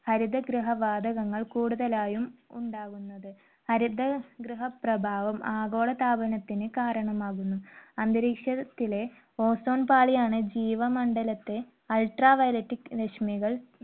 ഹരിതഗൃഹവാതകങ്ങൾ കൂടുതലായും ഉണ്ടാവുന്നത്. ഹരിതഗൃഹപ്രഭാവം ആഗോളതാപനത്തിന് കാരണമാകുന്നു. അന്തരീക്ഷത്തിലെ ozone പാളിയാണ് ജീവമണ്ഡലത്തെ Ultraviolet രശ്മികൾ